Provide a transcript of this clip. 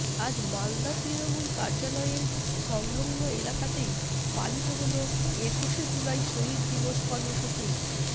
আজ মালদা তৃণমূল কার্যালয়ের সংলগ্ন এলাকাতেই পালিত হল একুশে জুলাই শহীদ দিবস কর্মসূচি